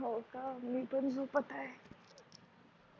होय ग मी पण झोपत आहे